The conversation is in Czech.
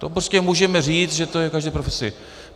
To prostě můžeme říct, že to je v každé profesi.